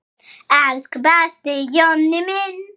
Elsku besti Jonni minn.